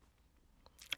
DR1